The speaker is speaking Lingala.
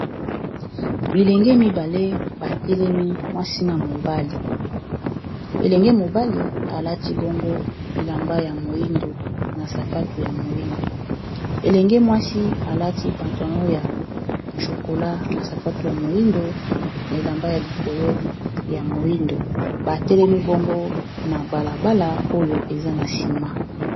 Bilenge mobali batelemi mwasi na mobali, elenge mobali alati bongo bilamba ya moindo na sapato ya moindo, elenge mwasi alati pentalon ya chokola na sapatu ya moindo na elamba ya likolo ya moindo ba telemi bongo na bala bala oyo eza na sima.